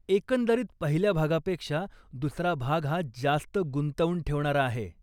एकंदरीत पहिल्या भागापेक्षा दुसरा भाग हा जास्त गुंतवून ठेवणारा आहे.